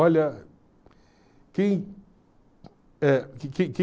Olha, quem eh